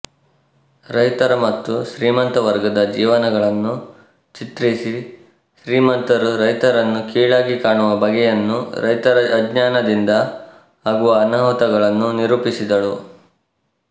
ರೈತರ ಮತ್ತು ಶ್ರೀಮಂತವರ್ಗದ ಜೀವನಗಳನ್ನು ಚಿತ್ರಿಸಿ ಶ್ರೀಮಂತರು ರೈತರನ್ನು ಕೀಳಾಗಿ ಕಾಣುವ ಬಗೆಯನ್ನೂ ರೈತರ ಅಜ್ಞಾನದಿಂದ ಆಗುವ ಅನಾಹುತಗಳನ್ನೂ ನಿರೂಪಿಸಿದಳು